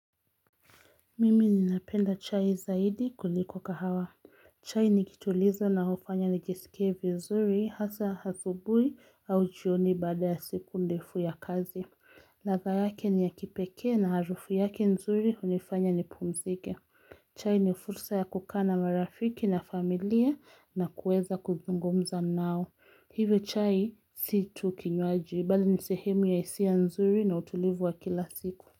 Mimi ninapenda chai zaidi kuliko kahawa. Chai nikitulizo na hufanya nijisikie vizuri hasa asubuhi au jioni baada ya siku ndefu ya kazi. Ladha yake ni ya kipekee na harufu yake nzuri hunifanya nipumzike. Chai ni fursa ya kukana marafiki na familia na kuweza kuzungumza nao. Hivyo chai si tu kinywaji bali ni sehemu ya hisia nzuri na utulivu wa kila siku.